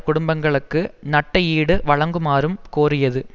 குடும்பங்களுக்கு நட்ட ஈடு வழங்குமாறும் கோரியது